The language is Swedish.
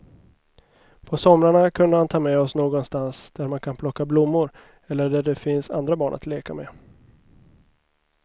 På somrarna kunde han ta med oss någonstans där man kan plocka blommor eller där det finns andra barn att leka med.